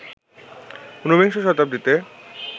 উনবিংশ শতাব্দীতে